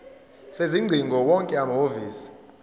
sezingcingo wonke amahhovisi